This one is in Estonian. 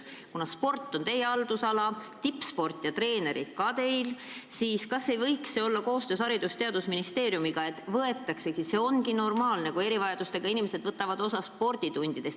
Kuna sport on ka teie haldusalas, siis kas te ei võiks teha koostööd Haridus- ja Teadusministeeriumiga, et jõuda selleni, et erivajadustega õpilased võtavad sporditundidest osa?